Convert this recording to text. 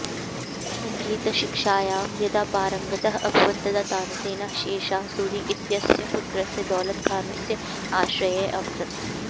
सङ्गीतशिक्षायां यदा पारङ्गतः अभवत् तदा तानसेनः शेरशाह सूरी इत्यस्य पुत्रस्य दौलत खानस्य आश्रये अवसत्